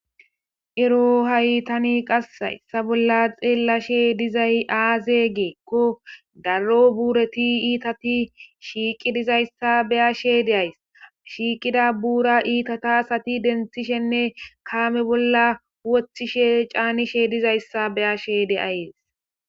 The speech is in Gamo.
ero haytani qass hayssa bolla xeellashe dizay aaze giiko darro buureti iitati shiiqi dizayssa beya shedeays shiiqida buura iitata sati denthishenne kaame bolla wothishe caanishe dizayssa beya shede ahees